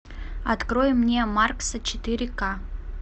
открой мне маркса четыре ка